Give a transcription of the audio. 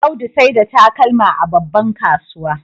Audu saida takalma a babban kasuwa